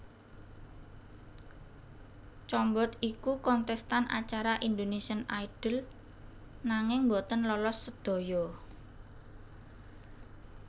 Combot iku kontestan acara Indonesian Idol nanging boten lolos sedaya